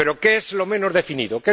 Pero ¿qué es lo menos definido?